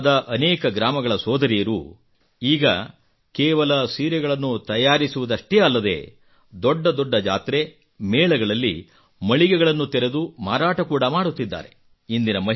ಪೂರ್ಣಿಯಾದ ಅನೇಕ ಗ್ರಾಮಗಳ ಸೋದರಿಯರು ಈಗ ಕೇವಲ ಸೀರೆಗಳನ್ನು ತಯಾರಿಸುವುದಷ್ಟೇ ಅಲ್ಲದೇ ದೊಡ್ಡ ದೊಡ್ಡ ಜಾತ್ರೆ ಮೇಳಗಳಲ್ಲಿ ಮಳಿಗೆಗಳನ್ನು ತೆರೆದು ಮಾರಾಟ ಕೂಡಾ ಮಾಡುತ್ತಿದ್ದಾರೆ